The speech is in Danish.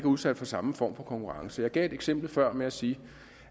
udsat for samme form for konkurrence jeg gav et eksempel før ved at sige